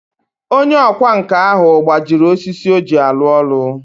Onye ọkwá nkà ahu gbajiri osisi oji alu olu.